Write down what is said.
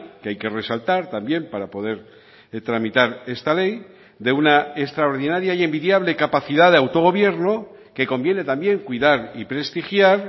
que hay que resaltar también para poder tramitar esta ley de una extraordinaria y envidiable capacidad de autogobierno que conviene también cuidar y prestigiar